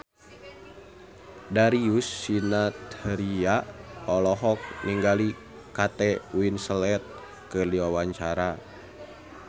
Darius Sinathrya olohok ningali Kate Winslet keur diwawancara